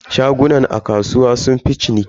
Shagunan a kasuwa sunfi ciniki.